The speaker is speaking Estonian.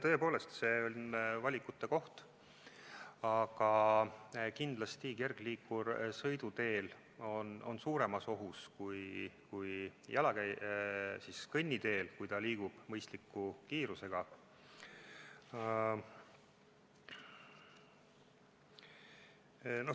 Tõepoolest, see on valikute koht, aga kindlasti on kergliikur sõiduteel suuremas ohus kui kõnniteel, kui ta liigub mõistliku kiirusega.